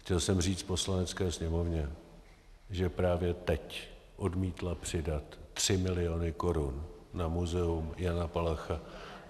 Chtěl jsem říct Poslanecké sněmovně, že právě teď odmítla přidat 3 miliony korun na Muzeum Jana Palacha.